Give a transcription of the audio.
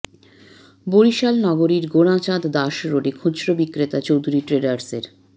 বরিশাল নগরীর গোঁড়াচাঁদ দাস রোডে খুচরা বিক্রেতা চৌধুরী ট্রেডার্সের